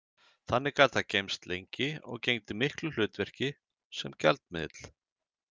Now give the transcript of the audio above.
Þannig gat það geymst lengi og gegndi miklu hlutverki sem gjaldmiðill.